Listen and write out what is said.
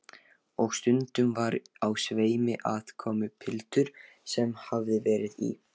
Og stundum var á sveimi aðkomupiltur sem hafði verið í